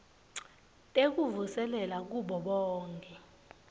tekuvuselela kubo bonkhe